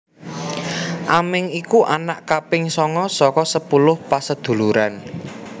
Aming iku anak kaping sanga saka sepuluh paseduluran